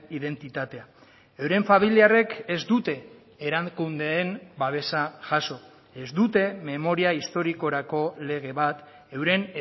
identitatea euren familiarrek ez dute erakundeen babesa jaso ez dute memoria historikorako lege bat euren